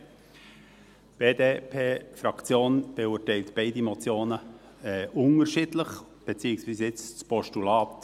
Die BDP-Fraktion beurteilt beide Motionen unterschiedlich, beziehungsweise nun das Postulat